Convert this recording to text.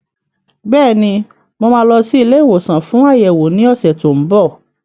Bẹ́ẹ̀ni, mo máa lọ sí ilé ìwòsàn fún àyẹ̀wò ní ọ̀sẹ̀ tó ń bọ̀.